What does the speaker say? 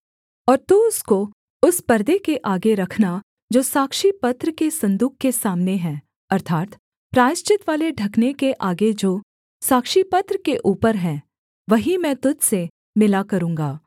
और तू उसको उस पर्दे के आगे रखना जो साक्षीपत्र के सन्दूक के सामने है अर्थात् प्रायश्चितवाले ढकने के आगे जो साक्षीपत्र के ऊपर है वहीं मैं तुझ से मिला करूँगा